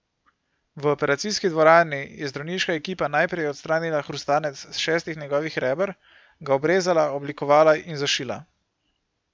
V operacijski dvorani je zdravniška ekipa najprej odstranila hrustanec s šestih njegovih reber, ga obrezala, oblikovala in zašila.